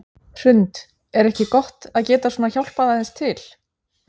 Hrund: Er ekki gott að geta svona hjálpað aðeins til?